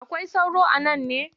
Akwai sauro a nan ne?